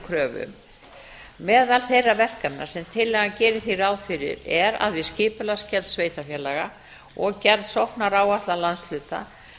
kröfu um meðal þeirra verkefna sem tillagan gerir hér ráð fyrir er að við skipulagsgerð sveitarfélaga og gerð sóknaráætlana landshluta